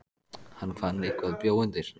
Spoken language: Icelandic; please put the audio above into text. Hann fann að eitthvað bjó undir.